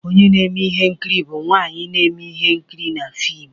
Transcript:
Onye na-eme ihe nkiri bụ nwanyị na-eme ihe nkiri na fim